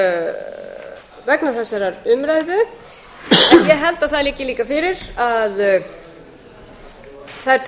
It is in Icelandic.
spurningum vegna þessarar umræðu en ég held að það liggi líka fyrir að það er